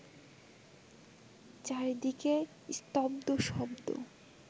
চারিদিকে স্তব্ধ শব্দ